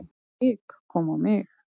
Hik kom á mig.